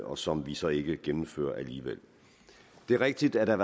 og som vi så ikke gennemfører alligevel det er rigtigt at der